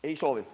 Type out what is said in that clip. Ei soovi.